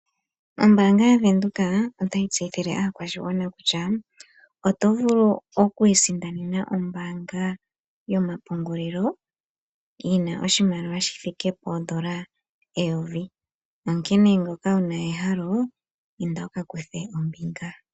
Ombaanga yaVenduka otayi tseyithile aakwashigwana kutya oto vulu oku isindanena ombaanga yomapungulilo, yina oshimaliwa shi thike poondola eyovi. Onkene ngoka wuna ehalo, inda wuka kuthe ombinga.